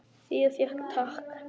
Fía fékk tak.